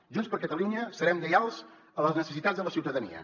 junts per catalunya serem lleials a les necessitats de la ciutadania